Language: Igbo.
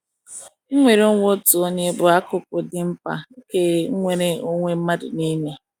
Nnwere onwe otu onye bụ akụkụ dị mkpa nke nnwere onwe mmadụ nile.